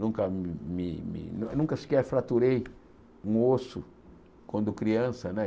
Nunca me me nunca sequer fraturei um osso quando criança, né?